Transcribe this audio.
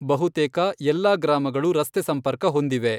ಬಹುತೇಕ ಎಲ್ಲಾ ಗ್ರಾಮಗಳು ರಸ್ತೆ ಸಂಪರ್ಕ ಹೊಂದಿವೆ.